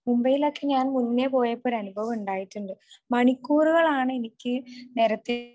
മുംബൈലൊക്കെ ഞാൻ മുന്നേ പോയപ്പോ ഒരു അനുഭവം ഉണ്ടായിട്ടുണ്ട്. മണിക്കൂറുകൾ ആണ് എനിക്ക് നേരത്തെ